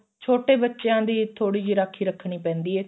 ਛੋਟੇ ਬੱਚਿਆਂ ਦੀ ਥੋੜੀ ਜਿਹੀ ਰਾਖੀ ਰੱਖਣੀ ਪੈਂਦੀ ਏ